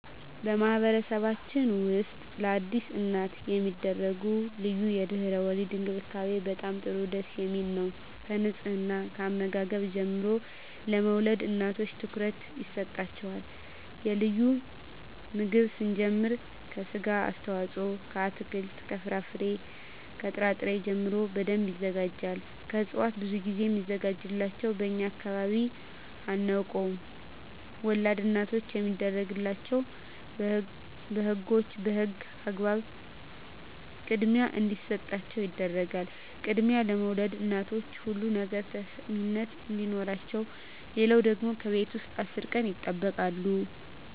በማህበረሰብችን ውስጥ ለአዲስ እናት የሚደረጉ ልዩ የድህረ _ወሊድ እንክብካቤ በጣም ጥሩ ደስ የሚል ነው ከንጽሕና ከአመጋገብ ጀምሮ ለወልድ እናቶች ትኩረት ይሰጣቸዋል ከልዩ ምግብ ስንጀምር ከስጋ አስተዋጽኦ ከአትክልት ከፍራፍሬ ከጥራ ጥሪ ጀምሮ በደንብ ይዘጋጃል ከእጽዋት ብዙ ግዜ ሚዘጋጅላቸው በእኛ አካባቢ አናውቀውም ወላድ እናቶች የሚደረግላቸው በህጎች በህግ አግባብ ክድሚያ እንዲሰጣቸው ይደረጋል ክድሚያ ለወልድ እናቶች ሁሉ ነገር ተሰሚነት አዲኖረቸው ሌለው ደግሞ ከቤት ውስጥ አስር ቀን ይጠበቃሉ